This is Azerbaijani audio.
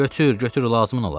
Götür, götür, lazımın olar.